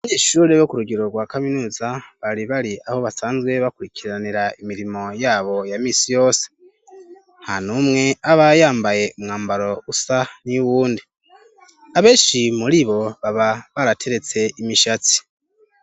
Icumba c' ishure rya Kaminuza ririmw' abanyeshure bariko barakor' ikibazo, imbere yabo har' umwarim' uhagaz' arik' arabacunga, har' umunyeshure w' inyuma yambay' impuzu zirabur' afis' icupa ry' amaz' imbere yiwe, kumpande har' amadirish' atuma hinjir' umuc' ukwiriye.